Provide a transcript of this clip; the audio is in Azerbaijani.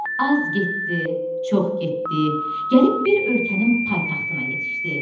Az getdi, çox getdi, gəlib bir ölkənin paytaxtına yetişdi.